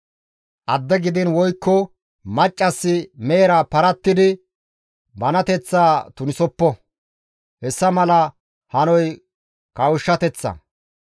«Adde gidiin woykko maccassi mehera parattidi banateththaa tunisoppo; hessa mala hanoy kawushshateththa.